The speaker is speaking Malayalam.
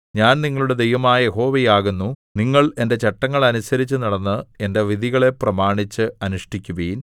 ഞാൻ നിങ്ങളുടെ ദൈവമായ യഹോവയാകുന്നു നിങ്ങൾ എന്റെ ചട്ടങ്ങൾ അനുസരിച്ചുനടന്ന് എന്റെ വിധികളെ പ്രമാണിച്ച് അനുഷ്ഠിക്കുവിൻ